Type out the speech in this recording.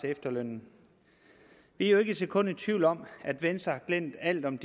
efterlønnen vi er jo ikke et sekund i tvivl om at venstre har glemt alt om